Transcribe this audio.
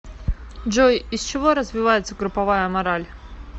джой из чего развивается групповая мораль